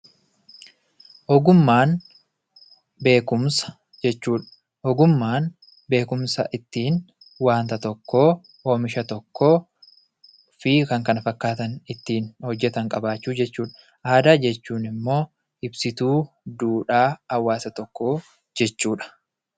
Ogummaan beekumsa jechuudha. Ogummaan beekumsa ittiin wanta tokko oomisha tokkofi kan kana fakkaatan ittiin hojjatan qabaachuu jechuudha. Aadaa jechuunimmoo ibsituu duudhaa hawaasa tokkoo jechuudha.